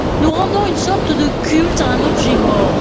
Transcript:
Nous rendons une sorte de culte à un objet mort.